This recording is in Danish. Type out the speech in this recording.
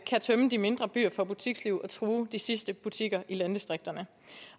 kan tømme de mindre byer for butiksliv og true de sidste butikker i landdistrikterne